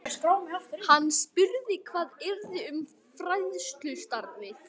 Hann spurði hvað yrði um fræðslustarfið.